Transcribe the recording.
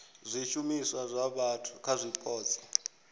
zwishumiswa zwa vhathu kha zwipotso